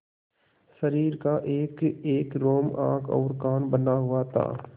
शरीर का एकएक रोम आँख और कान बना हुआ था